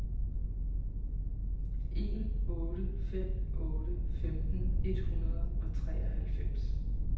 en otte fem otte femten et hundrede og treoghalvfems